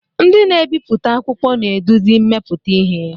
Ndị na-ebipụta akwụkwọ na-eduzi mmepụta ihe.